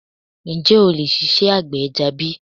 Ǹjẹ́ o lè ṣiṣẹ́ àgbẹ̀ ẹja bi?